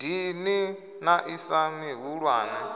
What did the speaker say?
dini na i si mihulwane